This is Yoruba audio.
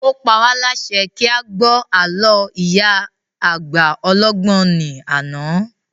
Ó pa wá lásẹ kí a gbọ́ àló ìyá àgbà ọlọ́gbọ́n ní àná